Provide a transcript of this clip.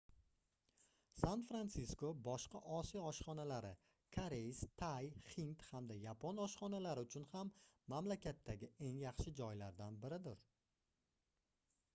san-fransisko boshqa osiyo oshxonalari koreys tay hind hamda yapon oshxonalari uchun ham mamlakatdagi eng yaxshi joylardan biridir